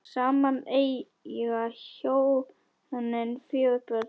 Saman eiga hjónin fjögur börn.